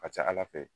A ka ca ala fɛ